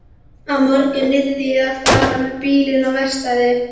Á morgun yrði ég að fara með bílinn á verkstæði.